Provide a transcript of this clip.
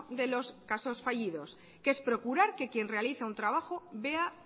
de los casos fallidos que es procurar que quien realiza un trabajo vea